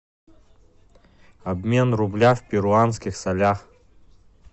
обмен рубля в перуанских солях